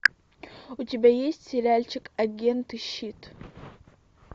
у тебя есть сериальчик агенты щит